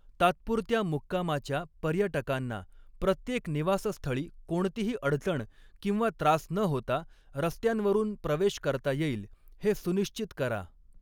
तात्पुरत्या मुक्कामाच्या पर्यटकांना प्रत्येक निवासस्थळी कोणतीही अडचण किंवा त्रास न होता रस्त्यांवरून प्रवेश करता येईल हे सुनिश्चित करा.